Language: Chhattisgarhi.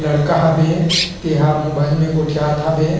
लड़का हबे ते हा मोबाइल में गोठीयात हबे।